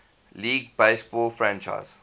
league baseball franchise